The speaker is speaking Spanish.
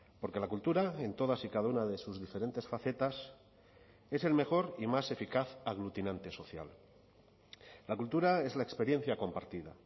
porque la cultura en todas y cada una de sus diferentes facetas es el mejor y más eficaz aglutinante social la cultura es la experiencia compartida